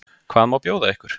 Hvað má bjóða ykkur?